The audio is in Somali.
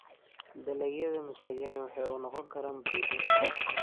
Dalagyada masagani waxay u noqon karaan budo.